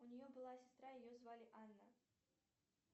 у нее была сестра ее звали анна